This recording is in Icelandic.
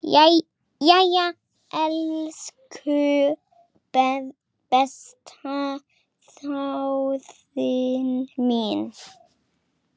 Jæja, elsku besta þjóðin mín!